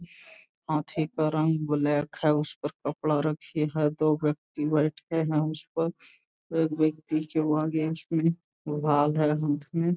हाथी का रंग ब्लैक है उस पर कपड़ा रखी है दो व्यक्ति बैठे हैं उस पर एक व्यक्ति के अगेंस्ट में है हाथ में।